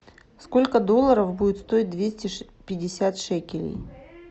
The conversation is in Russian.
сколько долларов будет стоить двести пятьдесят шекелей